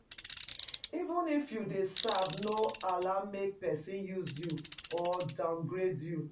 Even if you dey serve no allow make persin use you or downgrade you